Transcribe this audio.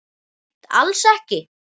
Hreint alls ekki.